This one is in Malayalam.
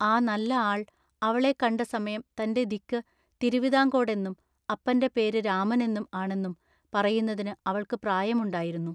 ആ നല്ല ആൾ അവളെ കണ്ട സമയം തന്റെ ദിക്കു തിരുവിതാംകോടെന്നും അപ്പന്റെ പേരു രാമനെന്നു ആണെന്നും പറയുന്നതിനു അവൾക്കു പ്രായമുണ്ടായിരുന്നു.